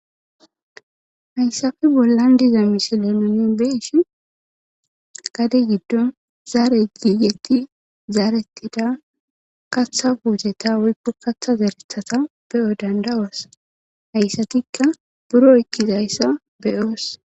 hayssafe bollan diza misilenonen beeshi gade giddon zaare giigetti zaaretida katha wuuteta woykko katha zarethata beyo dandawas hayssatikka buro ykkizayssa beyoos